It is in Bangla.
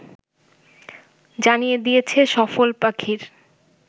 জানিয়ে দিয়েছে সফল পাখির